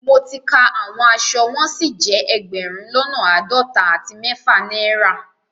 Mọ̀ tí ká àwọn àṣọ wọn sí jẹ ẹgbérùn lọ́nà aádọ́tà àti mẹ̀fà naira